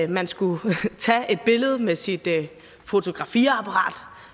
man skulle tage et billede med sit fotografiapparat